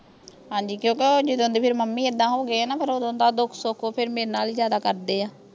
ਹਾਂਜੀ ਕਿਂਓਕੀ ਓਹ ਜਿਦਾਂ ਦੇ ਮੰਮੀ ਐਦਾਂ ਹੋ ਗਏ ਆ ਨਾਂ ਫੇਰ ਓਦੋਂ ਦਾ ਓਹ ਦੁਖ ਸੁਖ ਓਹ ਫੇਰ ਮੇਰੇ ਨਾਲ ਹੀ ਜਿਆਦਾ ਕਰਦੇ ਆ